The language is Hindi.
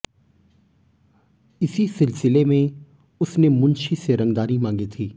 इसी सिलसिले में उसने मुंशी से रंगदारी मांगी थी